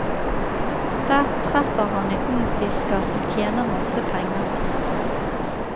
Der treffer han en ung fisker som tjener masse penger. punktum